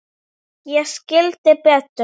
Ég skildi Betu.